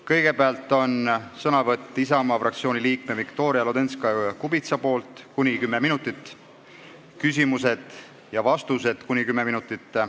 Kõigepealt on Isamaa fraktsiooni liikme Viktoria Ladõnskaja-Kubitsa sõnavõtt , siis küsimused ja vastused .